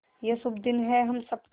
ये शुभ दिन है हम सब का